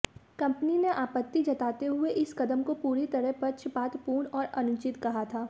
company ने आपत्ति जताते हुए इस कदम को पूरी तरह पक्षपातपूर्ण और अनुचित कहा था